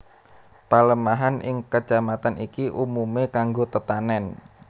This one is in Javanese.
Palemahan ing Kecamatan iki umumé kanggo tetanèn